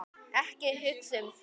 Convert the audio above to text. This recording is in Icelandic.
Ekki hugsa um þau!